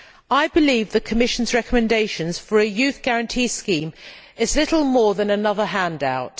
I believe the Commission's recommendations for a youth guarantee scheme is little more than another handout.